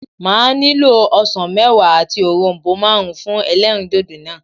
Màá nílò osàn méwàá àti òronbó máàrún fún elérìndòdò náà